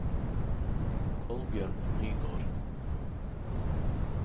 Kolbjørn Nygård